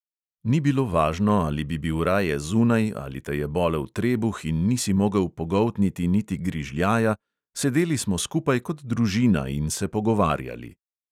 Ni bilo važno, ali bi bil raje zunaj ali te je bolel trebuh in nisi mogel pogoltniti niti grižljaja, sedeli smo skupaj kot družina in se pogovarjali.